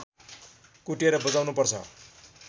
कुटेर बजाउनु पर्छ